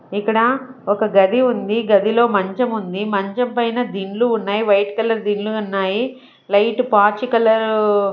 ఇక్కడ ఒక గది ఉంది గదిలో మంచం ఉంది మంచం పైన దిండ్లు ఉన్నాయి వైట్ కలర్ దిండ్లు ఉన్నాయి లైట్ పాచి కలర్ .